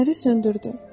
Fənəri söndürdü.